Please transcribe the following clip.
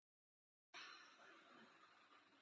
Dómarinn varð ekki við þeirri kröfu